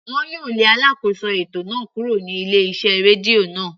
Wọn yóò lé alákóso ètò náà kúrò ní ilé iṣẹ́ rédíò náà.